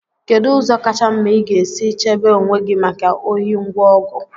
kedu ụzọ kacha mma ị ga-esi chebe onwe gị maka ohi ngwa ọgụ